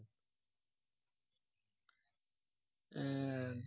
আহ